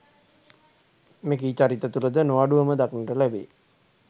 මෙකී චරිත තුළ ද නො අඩුව ම දක්නට ලැබේ